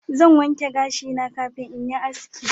Zan wanke gashi na kafin in yi haski